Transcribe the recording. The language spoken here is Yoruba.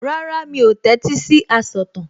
Rárá, mi ò tẹ́tí sí asọ̀tàn